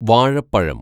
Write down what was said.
വാഴപ്പഴം